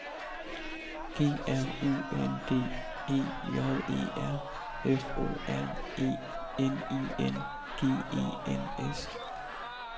G R U N D E J E R F O R E N I N G E N S